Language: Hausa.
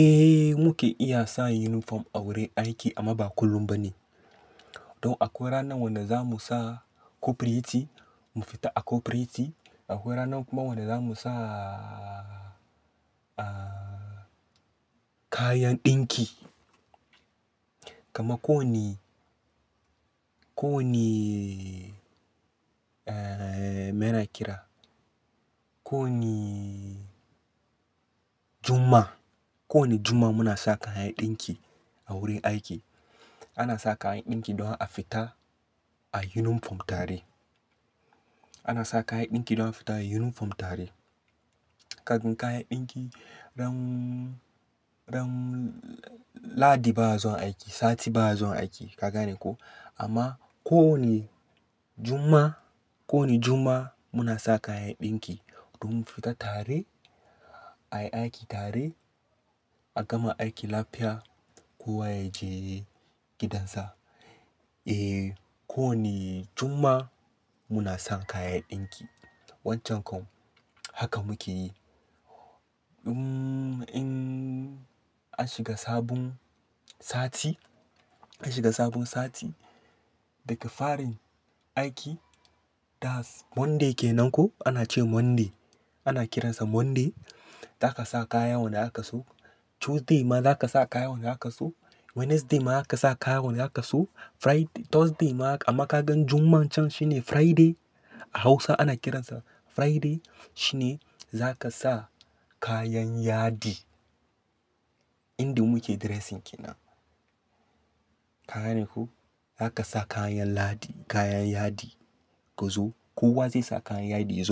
Eh muke iya sa uniform a wurin aiki amma ba kullum bane. Don akwai ranar wanda za mu sa cooperate mu fita a cooperate Akwai ranar kuma wanda za mu sa kayan ɗinki. Kamar ko wane, ko wane me na kira, ko wane Juma'a, ko wane juma'a muna sa kayan ɗinki a wurin aiki. Ana sa kayan ɗinki don a fita a yunifom tare. Ana sa kayan ɗinki don a fita a uniform tare. Kafin kayan ɗinki ran, ran Lahadi ba'a zuwa aiki, sati ba'a zuwa aiki. Ka gane ko? Amma ko wane Juma'a, ko wane Juma'a muna sa kayan ɗinki don mu fita tare, a yi aiki tare, a gama aiki lafiya kowa ya je gidansa. Eh ko wane Juma'a muna sa kayan ɗinki. Wancan kam haka muke yi. In an shiga sabon sati, an shiga sabon sati daga farin aiki, that's Monday ke nan ko ana ce Monday, ana kiransa Monday, za ka sa kayan wanda aka so. Tuesday ma zaka sa kaya wanda aka so Wednesday ma zaka sa kaya wanda aka so Friday, Thursday ma haka amma ka gan Juma'an can shi ne Friday. A Hausa ana kiransa Friday. Shi ne za ka sa kayan yadi yanda muke dressing kenan Ka gane ko? Za ka sa kayan Ladi, kayan yadi ka zo. Kowa zai sa kayan yadi ya